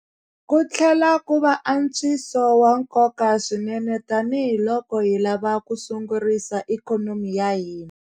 Ku tlhela ku va antswiso wa nkoka swinene tanihi loko hi lava ku sungurisa ikhonomi ya hina.